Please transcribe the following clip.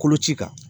Koloci kan